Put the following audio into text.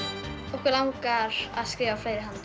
okkur langar að skrifa fleiri